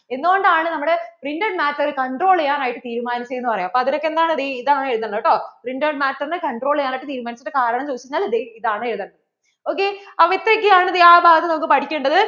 എന്ത് കൊണ്ടാണ് printed matter control ചെയ്യാൻ ആയിട്ട് തീരുമാനിച്ചേന്ന് പറയ്യാ അതിൽ ഒക്കെ എന്താണ്, ദേ ഇതാണ് എഴുതേണ്ടേ കേട്ടോ printed matter നെ control ചെയ്യാൻ ആയിട്ട് തീരുമാനിച്ച കാരണം ചോദിച്ചു കഴിഞ്ഞാൽ ദേ ഇതാണ് എഴുതേണ്ടേ ok ഇത്രയ്ക്കു ആണ് ആ ഭാഗം നമുക്ക് പഠിക്കേണ്ടത്